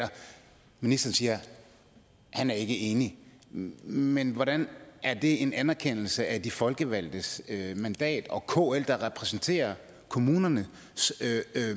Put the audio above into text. ministeren siger at han ikke er enig men hvordan er det en anerkendelse af de folkevalgtes mandat og kl der repræsenterer kommunernes